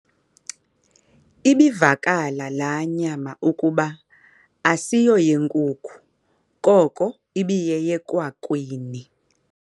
Ibivakala laa nyama ukuba asiyoyenkuku koko ibiyeyekwakwini.